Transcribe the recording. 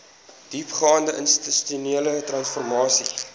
diepgaande institusionele transformasie